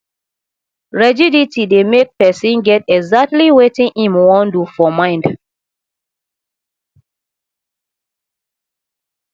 rigidity dey make person get exactly wetin im wan do for mind